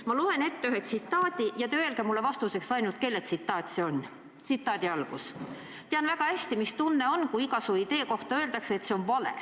Ma loen ette ühe tsitaadi ja te öelge mulle vastuseks ainult, kelle tsitaat see on: "Tean väga hästi, mis tunne on, kui iga su idee kohta öeldakse, et see on vale.